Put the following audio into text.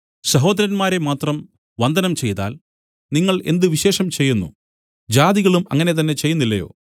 സഹോദരന്മാരെ മാത്രം വന്ദനം ചെയ്താൽ നിങ്ങൾ എന്ത് വിശേഷം ചെയ്യുന്നു ജാതികളും അങ്ങനെ തന്നെ ചെയ്യുന്നില്ലയോ